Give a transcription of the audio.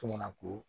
Tomana ko